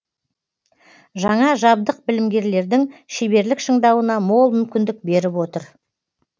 жаңа жабдық білімгерлердің шеберлік шыңдауына мол мүмкіндік беріп отыр